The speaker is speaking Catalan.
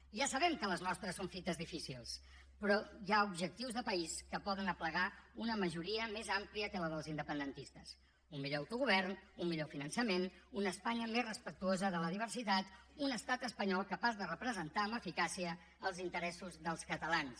ja sabem que les nostres són fites difícils però hi ha objectius de país que poden aplegar una majoria més àmplia que la dels independentistes un millor autogovern un millor finançament una espanya més respectuosa de la diversitat un estat espanyol capaç de representar amb eficàcia els interessos dels catalans